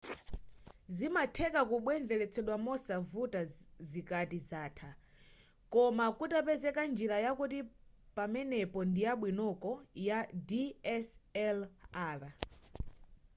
zimatheka kubwenzeletsedwa mosavuta zikati zatha koma kutapezeka njira yakuti pamenepo ndiyabwinoko ya dslr